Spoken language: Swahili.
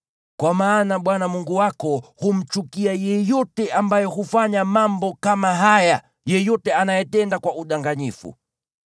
Kwa maana Bwana Mungu wako humchukia yeyote ambaye hufanya mambo kama haya, yeyote anayetenda kwa udanganyifu.